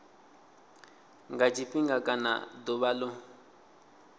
nga tshifhinga kana ḓuvha ḽo